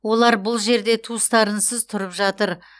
олар бұл жерде туыстарынсыз тұрып жатыр